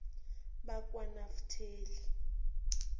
bakwanafateli